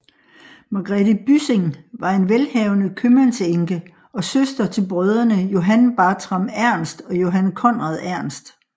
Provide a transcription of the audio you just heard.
Magrethe Byssing var en velhavende købmandsenke og søster til brødrene Johan Bartram Ernst og Johan Conrad Ernst